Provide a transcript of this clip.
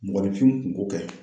Mɔgɔninfinw kunko kɛ.